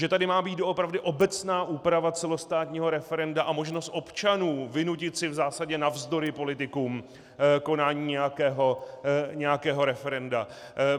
Že tady má být doopravdy obecná úprava celostátního referenda a možnost občanů vynutit si v zásadě navzdory politikům konání nějakého referenda.